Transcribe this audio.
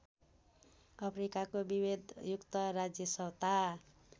अफ्रिकाको विभेदयुक्त राज्यसत्ता